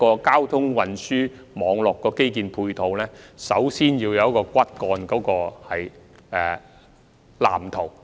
交通運輸網絡的基建配套，首先必須有骨幹藍圖。